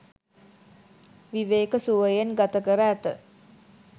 විවේක සුවයෙන් ගත කර ඇත.